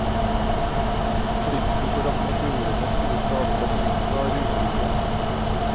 Frykten for at meteorene skulle skade satellitter, var ubegrunnet.